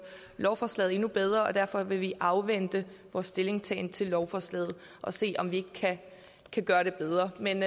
lovforslaget endnu bedre derfor vil vi afvente vores stillingtagen til lovforslaget og se om ikke vi kan gøre det bedre men